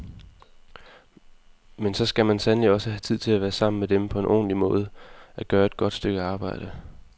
Men så skal man sandelig også have tid til at være sammen med dem på en ordentlig måde, at gøre et godt stykke arbejde.